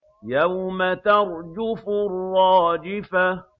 يَوْمَ تَرْجُفُ الرَّاجِفَةُ